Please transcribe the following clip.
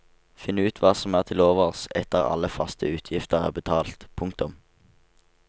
Finn ut hva som er til overs etter at alle faste utgifter er betalt. punktum